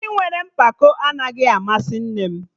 Ndị nwere mpako anaghị amasị nne m